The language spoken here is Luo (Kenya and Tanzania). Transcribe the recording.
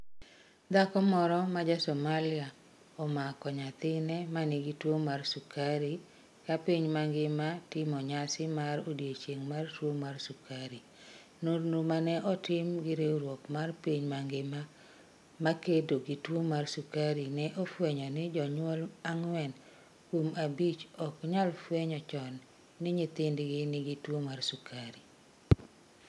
Dhako moro ma ja Somalia omako nyathine ma nigi tuwo mar sukari Ka piny mangima timo nyasi mar odiechieng' mar tuwo mar sukari, nonro ma ne otim gi riwruok mar piny mangima ma kedo gi tuo mar sukari ne ofwenyo ni jonyuol ang'wen kuom abich ok nyal fwenyo chon ni nyithindgi nigi tuwo mar sukari.